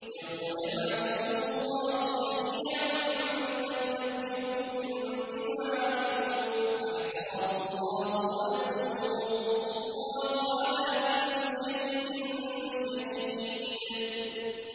يَوْمَ يَبْعَثُهُمُ اللَّهُ جَمِيعًا فَيُنَبِّئُهُم بِمَا عَمِلُوا ۚ أَحْصَاهُ اللَّهُ وَنَسُوهُ ۚ وَاللَّهُ عَلَىٰ كُلِّ شَيْءٍ شَهِيدٌ